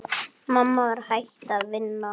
Mamma var hætt að vinna.